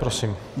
Prosím.